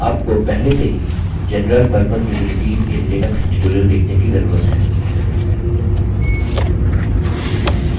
आपको पहले से ही general purpose utilities in linux tutorial देखने की जरूरत है